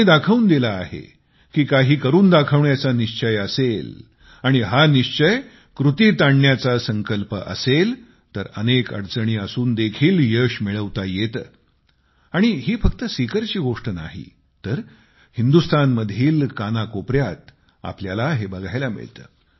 त्यांनी दाखवून दिले आहे की काही करून दाखवण्याचा निश्चय असेल आणि हा निश्चय कृतीत आणण्याचा संकल्प असेल तर अनेक अडचणी असून देखील यश मिळवता येते आणि ही फक्त सीकरची गोष्ट नाही तर हिंदुस्थानमधील कानाकोपऱ्यात आपल्याला हे बघायला मिळते